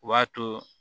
O b'a to